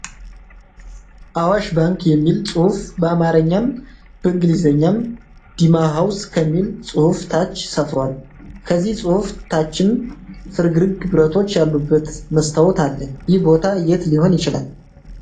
"አዋሽ ባንክ" የሚል ጽሁፍ በአማረኛም በእንግሊዘኛም "ዲማ ሃውስ" ከሚል ጽሁፍ ታች ሰፍሯል። ከነዚህ ጽሁፍ ታችም ፍርግርግ ብረቶች ያሉበት መስታወት አለ። ይህ ቦታ የት ሊሆን ይችላል?